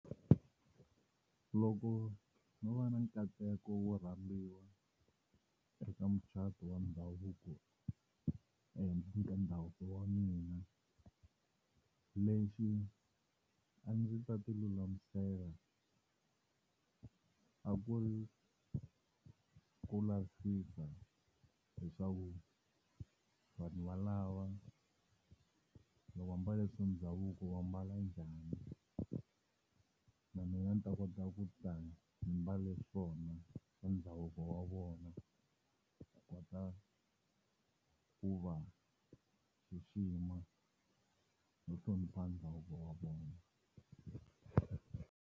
Loko ndzo va ni nkateko wo rambiwa eka mucato wa ndhavuko eka ndhavuko wa mina lexi a ndzi ta ti lulamisela a ku ri ku lavisisa leswaku vanhu valava loko va mbale swa ndhavuko wa mbala njhani na mina ni ta kota ku ta ni mbale swona swa ndhavuko wa vona ku kota ku va xixima no hlonipha ndhavuko wa vona.